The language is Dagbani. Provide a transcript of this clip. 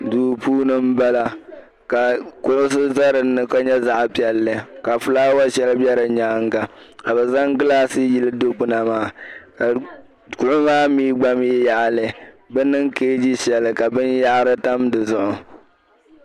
Duu puuni m-bala ka kuɣisi za dinni ka nyɛ zaɣ'piɛlli ka fulaawa shɛli be di nyaaŋa ka be zaŋ gilasi yili dikpuna maa ka kuɣa maa mii gba mii yaɣili be niŋ kaegi shɛli ka binyɛhari tam dizuɣu.